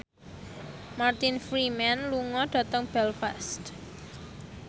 Martin Freeman lunga dhateng Belfast